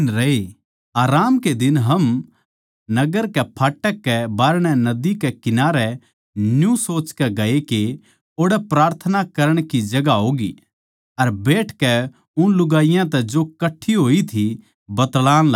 आराम कै दिन हम नगर कै फाटक कै बाहरणै नदी कै किनारै न्यू सोचकै गये के ओड़ै प्रार्थना करण की जगहां होगी अर बैठकै उन लुगाईयाँ तै जो कट्ठी होई थी बतळाण लाग्गे